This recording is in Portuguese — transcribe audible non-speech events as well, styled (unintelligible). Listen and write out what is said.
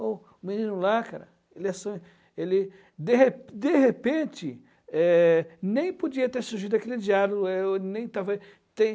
O menino lá, cara, ele é só, ele, de re de repente, eh, nem podia ter surgido aquele diálogo, (unintelligible) ele nem estava te